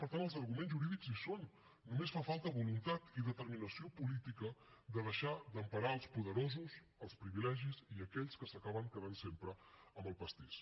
per tant els arguments jurídics hi són només fa falta voluntat i determinació política de deixar d’emparar els poderosos els privilegis i aquells que s’acaben quedant sempre amb el pastís